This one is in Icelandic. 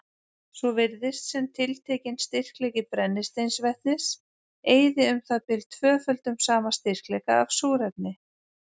Svo virðist sem tiltekinn styrkleiki brennisteinsvetnis eyði um það bil tvöföldum sama styrkleika af súrefni.